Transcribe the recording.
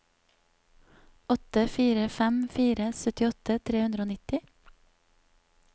åtte fire fem fire syttiåtte tre hundre og nitti